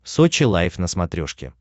сочи лайв на смотрешке